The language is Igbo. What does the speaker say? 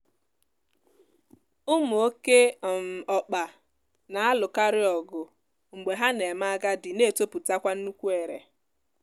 ụmụ oké um ọkpa na-alụkarịọgụ mgbe ha na-eme agadi na-etopụtakwa nnukwu ere